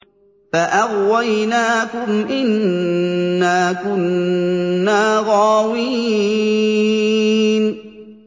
فَأَغْوَيْنَاكُمْ إِنَّا كُنَّا غَاوِينَ